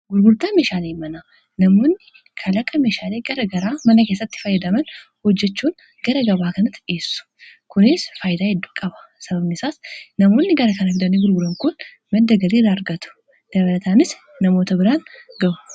gurgurtaa meshaalee mana namoonni kalaqa meshaalee gara garaa mana keessatti faayyadaman hojjechuun gara gabaa kanatti dhi, essu kuns faayida hedduu qaba sababni isaas namoonni gara kana fidanii gurguran kun madda galiira argatu dabalataanis namoota biraan gah.u